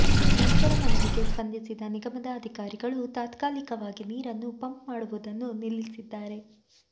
ರೈತರ ಮನವಿಗೆ ಸ್ಪಂದಿಸಿದ ನಿಗಮದ ಅಧಿಕಾರಿಗಳು ತಾತ್ಕಾಲಿಕವಾಗಿ ನೀರನ್ನು ಪಂಪ್ ಮಾಡುವುದನ್ನು ನಿಲ್ಲಿಸಿದ್ದಾರೆ